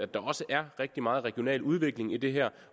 der også er rigtig meget regional udvikling i det her